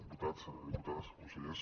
diputats diputades consellers